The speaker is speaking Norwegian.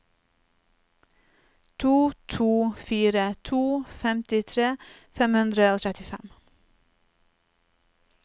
to to fire to femtitre fem hundre og trettifem